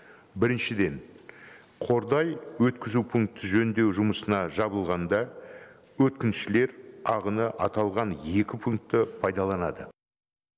біріншіден қордай өткізу пункті жөндеу жұмысына жабылғанда өткіншілер ағыны аталған екі пукнтті пайдаланады